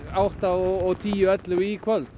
átta og tíu ellefu í kvöld